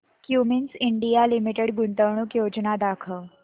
Cummins India limited गुंतवणूक योजना दाखव